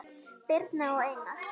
Birna og Einar.